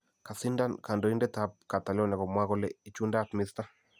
kasindan kandoindetap Catalonia komwa kole ichundaat Mr.